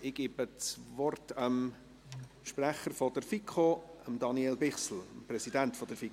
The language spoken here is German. Ich gebe dem Präsidenten der FiKo, Daniel Bichsel, das Wort.